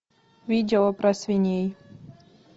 видео про свиней